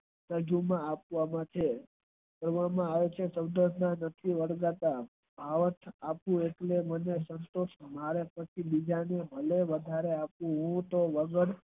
આપવાના છે ત્યારેકેવામાં આવશે મારેપાચી બીજા ને આગળ વધારે